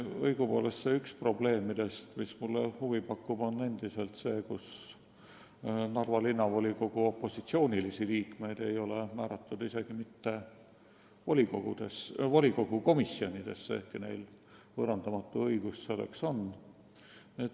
Mulle pakub endiselt huvi see probleem, et Narva Linnavolikogu opositsioonilisi liikmeid ei ole määratud isegi mitte volikogu komisjonidesse, ehkki neil on selleks võõrandamatu õigus.